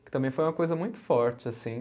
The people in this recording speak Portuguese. Que também foi uma coisa muito forte, assim.